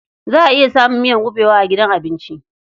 Za a iya samun miyar kuɓewa a gidan abinci.